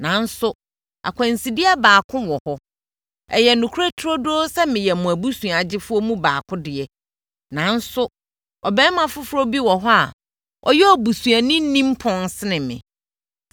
Nanso, akwansideɛ baako wɔ hɔ. Ɛyɛ nokorɛ turodoo sɛ meyɛ mo abusua agyefoɔ mu baako deɛ, nanso, ɔbarima foforɔ bi wɔ hɔ a ɔyɛ obusuani nimpɔn sene me.